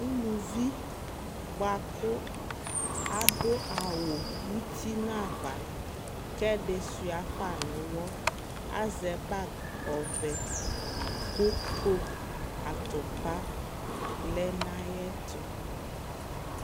ʋlʋvi bʋakʋ adʋ awʋ ʋti nʋ aɣa kɛ ɛdi sua ƒa nʋ ʋwɔ, azɛ bag ɔvɛ kʋ coke atʋpa lɛnʋayɛtʋ